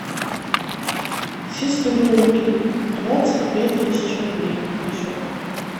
сестренке двадцать пять тысяч рублей на счет